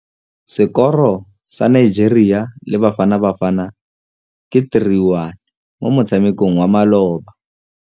Sekôrô sa Nigeria le Bafanabafana ke 3-1 mo motshamekong wa malôba.